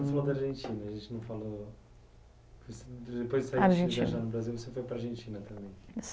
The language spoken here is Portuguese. você foi para Argentina, você falou, depois que você saiu viajando o Brasil você foi para a Argentina também. Argentina